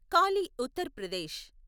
Kali Uttar Pradesh